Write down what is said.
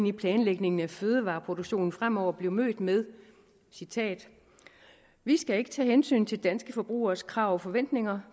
i planlægningen af fødevareproduktionen fremover blev mødt med citat vi skal ikke tage hensyn til danske forbrugeres krav og forventninger